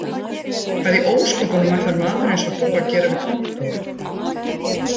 Hvað í ósköpunum ætlar maður eins og þú að gera við kontór